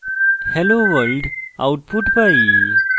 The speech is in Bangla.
hello world output pi